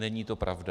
Není to pravda.